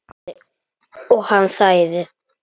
Og hann sagði